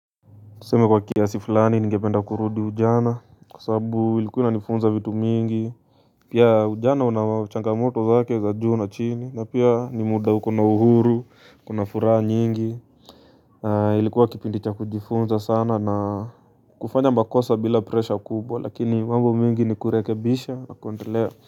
Tuseme kwa kiasi fuani, ningependa kurudi ujana. Kwa sababu ilikuwa inanifunza vitu mingi. Pia ujana una changamoto zake za juu na chini. Na pia ni muda uko na uhuru, kuna furaha nyingi. Ilikua kipindi cha kujifunza sana na kufanya makosa bila pressure kubwa, lakini mambo mingi ni kurekebisha na kuendelea.